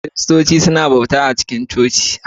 Kiristoci suna bauta a cikin coci